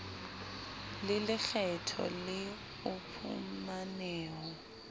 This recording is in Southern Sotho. le lekgetho le o phumaneho